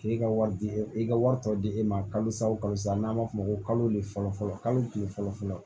K'e ka wari di i ka wari tɔ di e ma kalo sa o kalo sa n'an ma f'o ma ko kalo de fɔlɔ fɔlɔ kalo kile fɔlɔ fɔlɔ